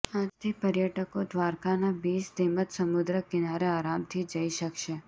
આજથી પર્યટકો દ્વારકાના બિચ તેમજ સમુદ્ર કીનારે આરામથી જઇ શક્શે